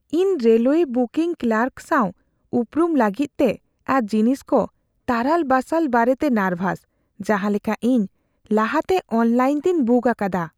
ᱤᱧ railway booking clerk ᱥᱟᱶ ᱩᱯᱨᱩᱢ ᱞᱟᱹᱜᱤᱫᱛᱮ ᱟᱨ ᱡᱤᱱᱤᱥ ᱠᱚ ᱛᱟᱨᱟᱞ ᱵᱟᱥᱟᱞ ᱵᱟᱨᱮᱛᱮ ᱱᱟᱨᱵᱷᱟᱥ, ᱡᱟᱦᱟᱸ ᱞᱮᱠᱟ ᱤᱧ ᱞᱟᱦᱟᱛᱮ ᱚᱱᱞᱟᱭᱤᱱᱛᱮᱧ ᱵᱩᱠ ᱟᱠᱟᱫᱟ ᱾